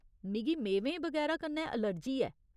मिगी मेवें बगैरा कन्नै एलर्जी ऐ .